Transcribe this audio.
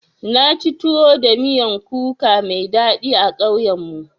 Naci tuwo da miyan kuka mai daɗi a ƙauyen mu.